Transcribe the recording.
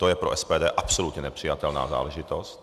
To je pro SPD absolutně nepřijatelná záležitost.